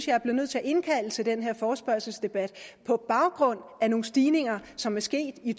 jeg var nødt til at indkalde til den her forespørgselsdebat på baggrund af nogle stigninger som er sket i